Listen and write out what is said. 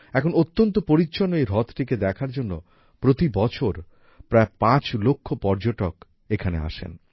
এখন অত্যন্ত পরিচ্ছন্ন এই হ্রদটিকে দেখার জন্য প্রতিবছর প্রায় ৫ লক্ষ পর্যটক এখানে আসেন